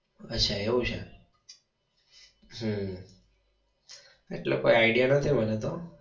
અચ્છા એવું છે હમ એટલે કોઈ idea નથી મને તો.